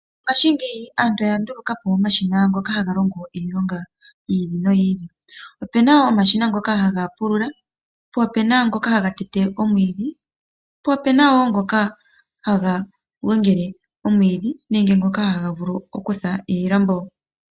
Ngashingeyi aantu oya ndulukapo omashina ngoka haga longo iilonga yiili noyiili. Opena omashina ngoka haga pulula, po opena ngoka haga tete omwiidhi, po opena woo ngoka haga gongele omwiidhi nenge ngoka haga vulu oku tha iilambo.